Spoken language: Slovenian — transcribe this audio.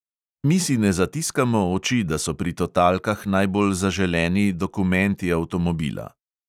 Mi si ne zatiskamo oči, da so pri totalkah najbolj zaželeni dokumenti avtomobila.